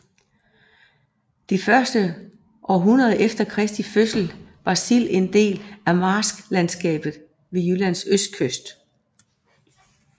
De første århundreder efter Kristi fødsel var Sild en del af marsklandskabet ved Jyllands østkyst